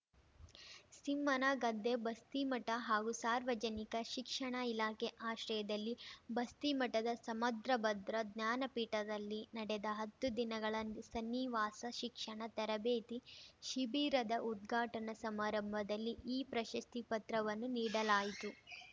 ಸಿಂಹನಗದ್ದೆ ಬಸ್ತಿಮಠ ಹಾಗೂ ಸಾರ್ವಜನಿಕ ಶಿಕ್ಷಣಾ ಇಲಾಖೆ ಆಶ್ರಯದಲ್ಲಿ ಬಸ್ತಿಮಠದ ಸಮದ್ರಭದ್ರ ಜ್ಞಾನಪೀಠದಲ್ಲಿ ನಡೆದ ಹತ್ತು ದಿನಗಳ ಸನ್ನಿವಾಸ ಶಿಕ್ಷಣ ತರಬೇತಿ ಶಿಬಿರದ ಉದ್ಘಾಟನಾ ಸಮಾರಂಭದಲ್ಲಿ ಈ ಪ್ರಶಸ್ತಿ ಪತ್ರವನ್ನು ನೀಡಲಾಯಿತು